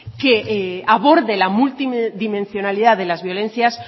que aborde la multidimensionalidad de las violencias